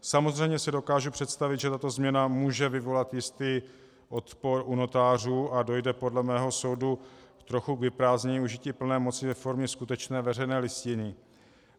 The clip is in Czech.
Samozřejmě si dokážu představit, že tato změna může vyvolat jistý odpor u notářů, a dojde podle mého soudu trochu k vyprázdnění užití plné moci ve formě skutečné veřejné listiny.